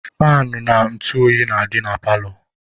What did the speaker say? Faanụ na ntụ oyi na-adị na paalọ.